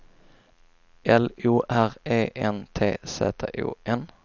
L O R E N T Z O N